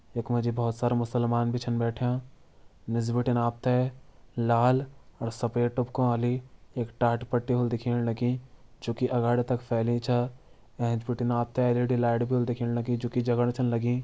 यख मा जी बहोत सारा मुसलमान भी छन बैठ्यां निस बिटिन आप त लाल और सफ़ेद टुपका वाली एक टाट पट्टी होली दिखेण लगीं जूकी अगाड़ी तक फैली छ एंच बिटिन आप त एल.ई.डी भी होली दिखेण लगीं जूकी जगण छन लगीं।